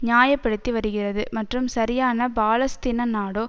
நியாய படுத்தி வருகிறது மற்றும் சரியான பாலஸ்தீன நாடோ